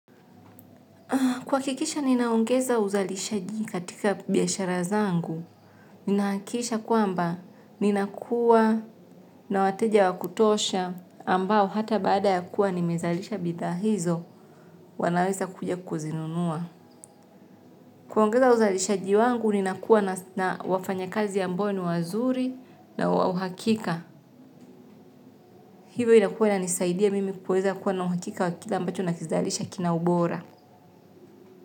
Kuhakikisha ninaongeza uzalishaji katika biashara zangu, ninahakisha kwamba ninakuwa na wateja wa kutosha ambao hata baada ya kuwa nimezalisha bidhaa hizo wanaweza kuja kuzinunua. Kuongeza uzalishaji wangu ninakuwa na wafanya kazi ambao ni wazuri na wa uhakika. Hivyo inakuwa inanisaidia mimi kuweza kuwa na uhakika wa kila ambacho nakizalisha kina ubora.